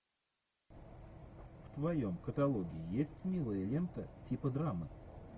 в твоем каталоге есть милая лента типа драмы